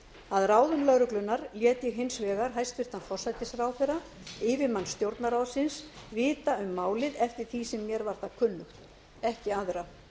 að ráðum lögreglunnar lét ég hins vegar hæstvirtan forsætisráðherra yfirmann stjórnarráðsins vita um málið eftir því sem mér var það kunnugt